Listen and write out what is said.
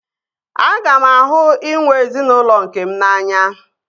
Aga m ahụ inwe ezinaụlọ nkem n'anya